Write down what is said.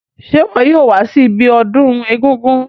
Se wo yóò wa si ibiodún egúngún